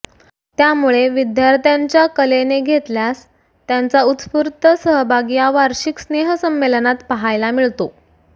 त्यामुळे विद्यार्थ्यांच्या कलेने घेतल्यास त्यांचा उत्स्फूर्त सहभाग या वार्षिक स्नेहसंमेलनात पाहायला मिळतो